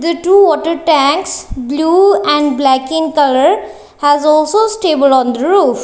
the two water tanks blue and black in colour has also stable on the roof.